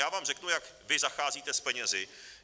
Já vám řeknu, jak vy zacházíte s penězi.